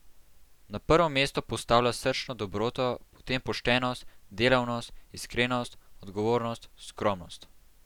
Na prvo mesto postavlja srčno dobroto, potem poštenost, delavnost, iskrenost, odgovornost, skromnost.